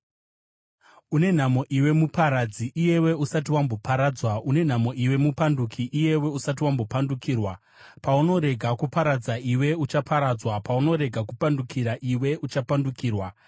Une nhamo iwe, muparadzi, iyewe usati wamboparadzwa! Une nhamo iwe, mupanduki, iyewe usati wambopandukirwa! Paunorega kuparadza, iwe uchaparadzwa; paunorega kupandukira, iwe uchapandukirwa.